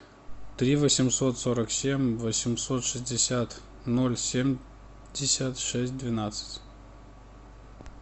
три восемьсот сорок семь восемьсот шестьдесят ноль семьдесят шесть двенадцать